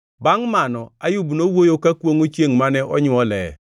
Bangʼ mano, Ayub nowuoyo ka kwongʼo chiengʼ mane onywole.